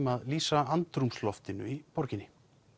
að lýsa andrúmsloftinu í borginni